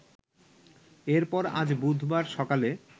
এরপর আজ বুধবার সকালে